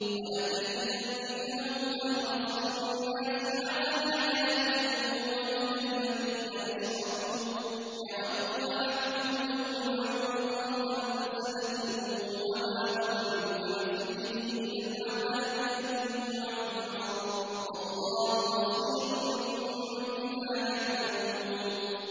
وَلَتَجِدَنَّهُمْ أَحْرَصَ النَّاسِ عَلَىٰ حَيَاةٍ وَمِنَ الَّذِينَ أَشْرَكُوا ۚ يَوَدُّ أَحَدُهُمْ لَوْ يُعَمَّرُ أَلْفَ سَنَةٍ وَمَا هُوَ بِمُزَحْزِحِهِ مِنَ الْعَذَابِ أَن يُعَمَّرَ ۗ وَاللَّهُ بَصِيرٌ بِمَا يَعْمَلُونَ